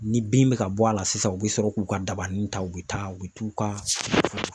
Ni bin bɛ ka bɔ a la sisan u bɛ sɔrɔ k'u ka dabani ta u bɛ taa u bɛ t'u ka.